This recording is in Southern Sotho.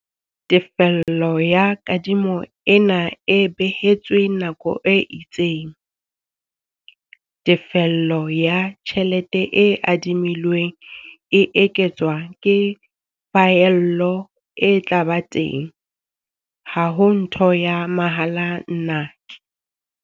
Tefello ya kadimo ena e behetswe nako e itseng. Tefello ya tjhelete e adimilweng e eketswa ke phaello e tla ba teng. Ha ho ntho ya mahala, nnake.